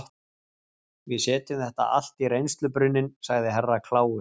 Við setjum þetta allt í reynslubrunninn, sagði Herra Kláus.